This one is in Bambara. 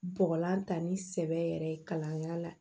Bɔgɔlan ta ni sɛbɛ yɛrɛ ye kalanyɔrɔ la